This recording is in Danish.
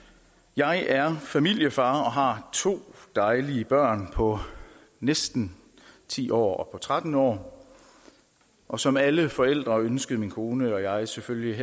jeg er familiefar og har to dejlige børn på næsten ti år og på tretten år og som alle forældre ønskede min kone og jeg selvfølgelig